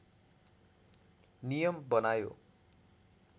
नियम बनायो